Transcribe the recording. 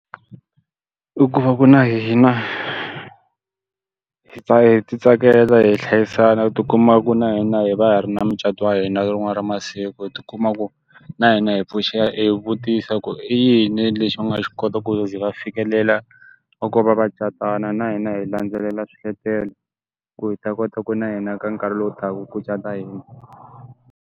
I ku va ku na hina, hi hi ti tsakela hi hlayisana hi ti kuma ku na hina hi va hi ri na mucato wa hina rin'wana ra masiku. Hi ti kuma ku na hina hi pfuxela hi vutisa ku i yini lexi u nga xi kota ku ze va fikelela loko va va catana? Na hina hi landzelela swiletelo. Ku hi ta kota ku na hina ka nkarhi lowu taka ku cata hina.